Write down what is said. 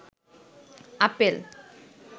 apple